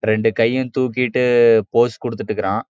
ரெண்டு கையும் தூக்கிட்டு போஸ் குடுத்துட்டு இருக்கான்